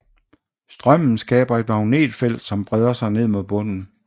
Strømmen skaber et magnetfelt som breder sig ned mod bunden